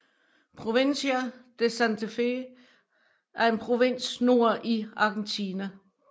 Provincia de Santa Fe er en provins nord i Argentina